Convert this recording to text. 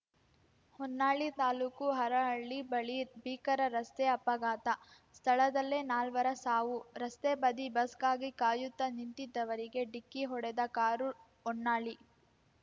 ಹೊನ್ನಾಳಿ ತಾಲೂಕು ಹರಹಳ್ಳಿ ಬಳಿ ಭೀಕರ ರಸ್ತೆ ಅಪಘಾತ ಸ್ಥಳದಲ್ಲೇ ನಾಲ್ವರ ಸಾವು ರಸ್ತೆ ಬದಿ ಬಸ್‌ಗಾಗಿ ಕಾಯುತ್ತಾ ನಿಂತಿದ್ದವರಿಗೆ ಡಿಕ್ಕಿ ಹೊಡೆದ ಕಾರು ಹೊನ್ನಾಳಿ